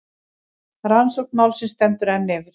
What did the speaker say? Rannsókn málsins stendur enn yfir.